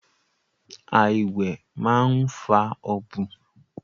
Àìwẹ̀ máa ń fa ọ̀bùn